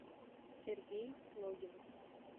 сергей логинов